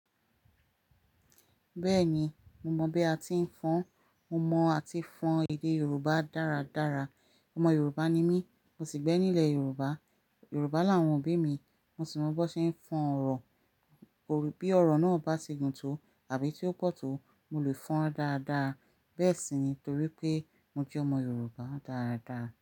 Bẹ́ẹ̀ni, mo mọ̀ bí a ti ń fọn. Mo mọ̀ a ti fọn èdè Yorùbá dáradára. Ọmọ Yorùbá ni mí, mo sì gbé nílẹ̀ Yorùbá. Yorùbá làwọn òbí mi. Mo sì mọ bó ṣe ń fọn ọ̀rọ̀. Bí ọ̀rọ̀ náà bá ti gùn tó àbí tí ó pọ̀ tó, mo lè fọn án dáadáa. Bẹ́ẹ̀ sì ni torí pé mo jẹ́ ọmọ Yorùbá dáadaa.